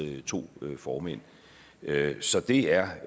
to formænd så det er